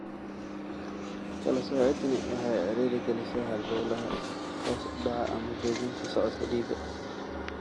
Kala soocidaani waxay ciriiri gelisaa halbowlaha, hoos u dhaca ama joojinta socodka dhiigga.